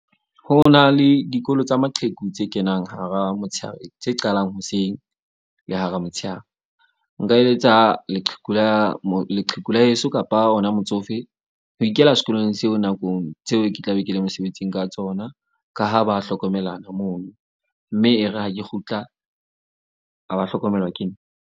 Ho na le dikolo tsa maqheku tse kenang hara motshehare tse qalang hoseng le hara motshehare. Nka eletsa leqheku la leqheku la heso kapa ona motsofe ho ikela sekolong seo. Nakong tseo ke tla be ke le mosebetsing ka tsona. Ka ha ba hlokomelana mono. Mme e re ha ke kgutla, a ba hlokomelwa ke nna.